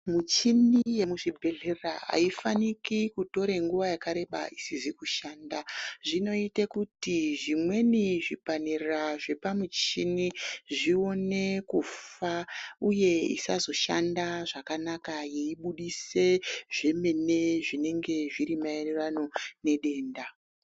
Michini yemuzvibhedhlera haifaniki kutore nguva yakareba isize kushanda. Zvinoite kuti zvimweni zvipanera zvepamuchini zvione kufa uye isazoshanda zvakanaka yeibudise zvemene zvinenge zviri maererano nedenda.